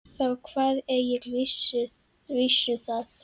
Þá kvað Egill vísu þessa: